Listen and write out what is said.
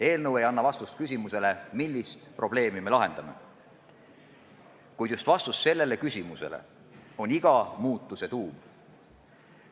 Eelnõu ei anna vastust küsimusele, millist probleemi me lahendame, kuid just vastus sellele küsimusele on iga muutuse tuum.